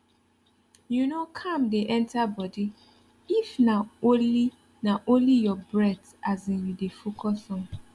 you know calm dey enter body if na only na only your breath as in you dey focus on